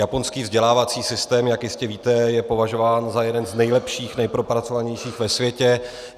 Japonský vzdělávací systém, jak jistě víte, je považován za jeden z nejlepších, nejpropracovanějších ve světě.